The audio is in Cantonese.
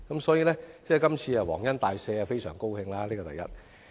所以，這次"皇恩大赦"，業界非常高興，這是第一點。